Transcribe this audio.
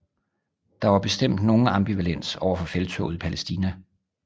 Der var bestemt nogen ambivalens overfor felttoget i Palæstina